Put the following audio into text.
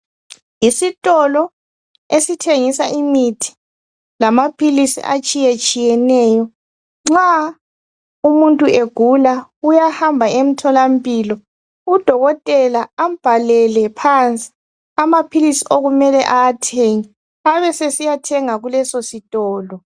Isikolo esithengisa imithi lamaphilisi atshiyetshiyeneyo. Nxa umuntu egula uyahamba emtholampilo udokotela ambhalele phansi amaphilisi okumele awathenge. Abe sesiyathenga kulesositolo.